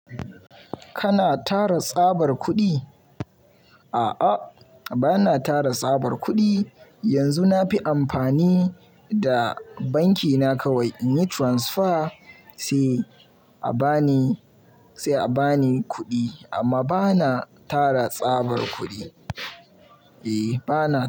Kana tara tsabar kuɗi? A'a bana tara tsabar kuɗi. Yanzu na fi amfani da banki na kawai in yi transfer sai a ba ni, sai a ba ni kuɗi amma bana tara tsabar kuɗi. Eh bana.